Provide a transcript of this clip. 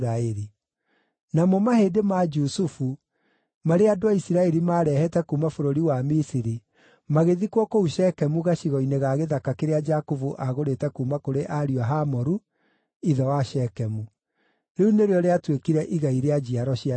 Namo mahĩndĩ ma Jusufu, marĩa andũ a Isiraeli maarehete kuuma bũrũri wa Misiri, magĩthikwo kũu Shekemu gacigo-inĩ ga gĩthaka kĩrĩa Jakubu aagũrĩte kuuma kũrĩ ariũ a Hamoru, ithe wa Shekemu. Rĩu nĩrĩo rĩatuĩkire igai rĩa njiaro cia Jusufu.